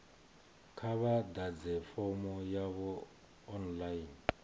kha vha ḓadze fomo yavho online